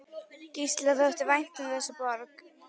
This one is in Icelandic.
Gísla þótti vænt um þessa borg.